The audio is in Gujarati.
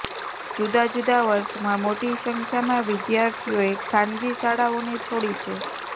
જુદા જુદા વર્ષમાં મોટી સંખ્યામાં વિદ્યાર્થીઓએ ખાનગી શાળાઓને છોડી છે